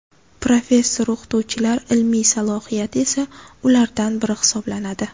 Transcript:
Professor-o‘qituvchilar ilmiy salohiyati esa ulardan biri hisoblanadi.